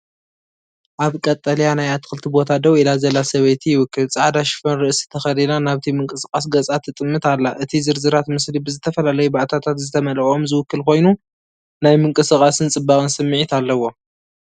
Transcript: ኣብ ቀጠልያ ናይ ኣትክልቲ ቦታ ደው ኢላ ዘላ ሰበይቲ ይውክል። ጻዕዳ ሽፈን ርእሲ ተኸዲና ናብቲ ምንቅስቓስ ገጻ ትጥምት ኣላ። እቲ ዝርዝራት ምስሊ ብዝተፈላለዩ ባእታታት ዝተመልአ ኦም ዝውክል ኮይኑ፡ ናይ ምንቅስቓስን ጽባቐን ስምዒት ኣለዎ።